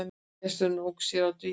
Gesturinn ók sér á dívaninum.